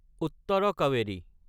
Uttara Kaveri